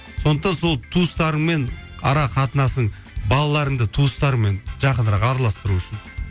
сондықтан сол туыстарыңмен ара қатынасың балаларыңды туыстарыңмен жақынырақ араласып тұру үшін